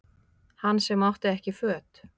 Hann sem átti ekki föt